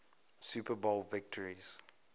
super bowl victories